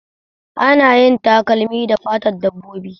Ana yin takalmi da fatn dabbobi